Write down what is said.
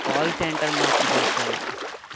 Call center માં job કરું છું.